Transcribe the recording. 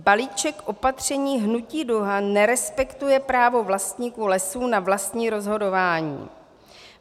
Balíček opatření Hnutí Duha nerespektuje právo vlastníků lesů na vlastní rozhodování.